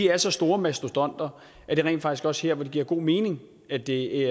er så store mastodonter at det rent faktisk også her giver god mening at det